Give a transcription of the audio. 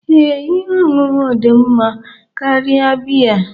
Ee, ihe ọṅụṅụ dị mma karịa biya